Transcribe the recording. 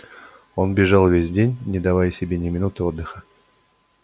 он бежал весь день не давая себе ни минуты отдыха